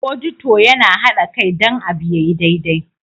" Auditor" Yana hada Kai don abu ya yi daidai.